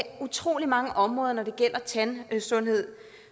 utrolig mange områder når det gælder tandsundhed